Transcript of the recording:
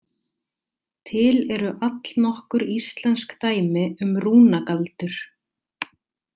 Til eru allnokkur íslensk dæmi um rúnagaldur.